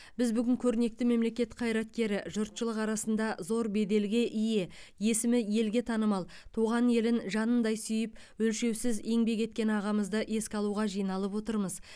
біз бүгін көрнекті мемлекет қайраткері жұртшылық арасында зор беделге ие есімі елге танымал туған елін жанындай сүйіп өлшеусіз еңбек еткен ағамызды еске алуға жиналып отырмыз